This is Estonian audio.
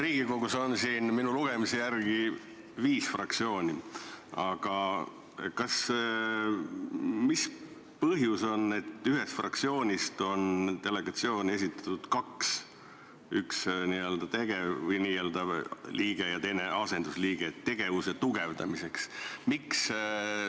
Riigikogus on minu lugemise järgi viis fraktsiooni, aga mis see põhjus on, et ühest fraktsioonist on delegatsiooni esitatud kaks liiget, üks n-ö tegevliige või n-ö liige ja teine asendusliige, "tegevuse tugevdamiseks"?